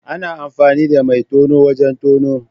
Ana amfani da mai tono wajen tono.